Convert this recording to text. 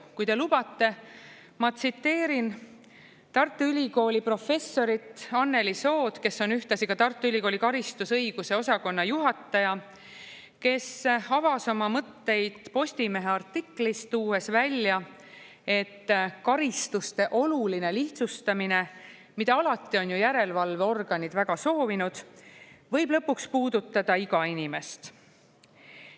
Kui te lubate, ma tsiteerin Tartu Ülikooli professorit Anneli Sood, kes on ühtlasi ka Tartu Ülikooli karistusõiguse osakonna juhataja, kes avas oma mõtteid Postimehe artiklis, tuues välja, et karistuste oluline lihtsustamine, mida alati on ju järelevalveorganid väga soovinud, võib lõpuks puudutada iga inimest.